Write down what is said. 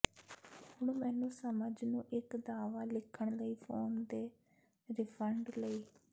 ਹੁਣ ਮੈਨੂੰ ਸਮਝ ਨੂੰ ਇੱਕ ਦਾਅਵਾ ਲਿਖਣ ਲਈ ਫੋਨ ਦੇ ਰਿਫੰਡ ਲਈ